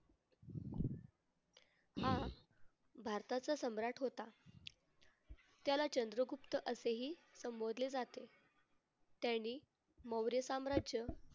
हा भारताचा सम्राट होता, त्याला चंद्रगुप्त असेही संबोधले जाते. त्याने मौर्य साम्राज्य